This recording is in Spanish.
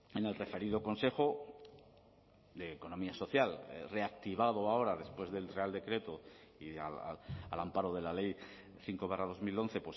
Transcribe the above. en el referido consejo de economía social reactivado ahora después del real decreto y al amparo de la ley cinco barra dos mil once